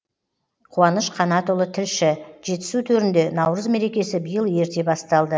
қуаныш қанатұлы тілші жетісу төрінде наурыз мерекесі биыл ерте басталды